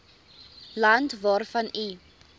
land waarvan u